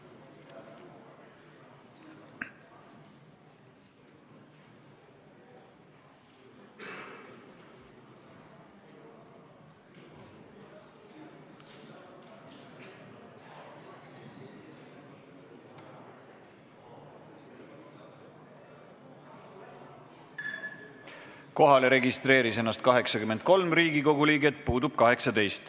Kohaloleku kontroll Kohalolijaks registreeris ennast 83 Riigikogu liiget, puudub 18.